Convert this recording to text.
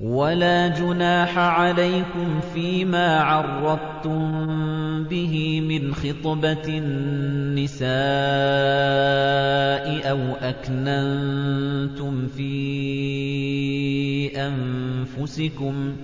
وَلَا جُنَاحَ عَلَيْكُمْ فِيمَا عَرَّضْتُم بِهِ مِنْ خِطْبَةِ النِّسَاءِ أَوْ أَكْنَنتُمْ فِي أَنفُسِكُمْ ۚ